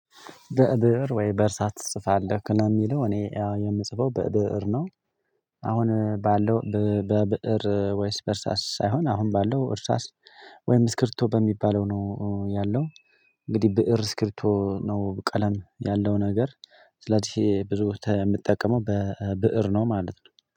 በብእር ወይ በእርሳስ ትጽፋለህ? ለሚለው እኔ የምጽፈው በብእር ነው አሁን ባለው በብእር ወይስ በእርሳስ ሳይሆን አሁን ባለው እርሳስ ወይም ስክብሪቶ በሚባለው ነው ያለው እንግዲህ ብእር ስክብሪቶ ነው ቀለም ያለው ነገር ስለዚህ ብዙ የምትጠቀመው በብእር ነው ማለት ነው